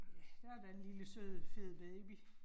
Ja, der er da en lille sød fed baby